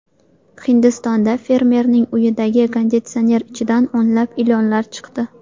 Hindistonda fermerning uyidagi konditsioner ichidan o‘nlab ilonlar chiqdi.